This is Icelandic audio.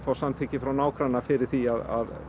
samþykki frá nágranna fyrir því að